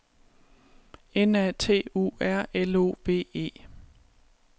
N A T U R L O V E